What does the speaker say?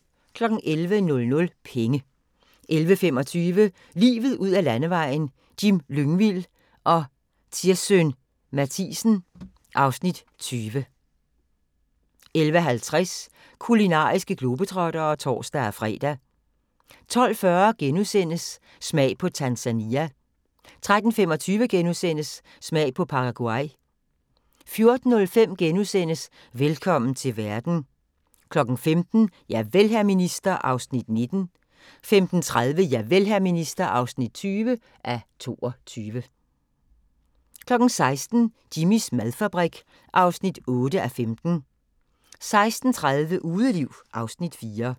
11:00: Penge 11:25: Livet ud ad landevejen: Jim Lyngvild og Tirssøn Mathiesen (Afs. 20) 11:50: Kulinariske globetrottere (tor-fre) 12:40: Smag på Tanzania * 13:25: Smag på Paraguay * 14:05: Velkommen til verden * 15:00: Javel, hr. minister (19:22) 15:30: Javel, hr. minister (20:22) 16:00: Jimmys madfabrik (8:15) 16:30: Udeliv (Afs. 4)